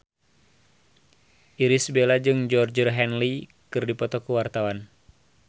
Irish Bella jeung Georgie Henley keur dipoto ku wartawan